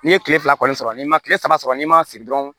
N'i ye tile fila kɔni sɔrɔ n'i ma kile saba sɔrɔ n'i ma sigi dɔrɔn